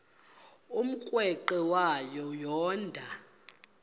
umrweqe wayo yoonda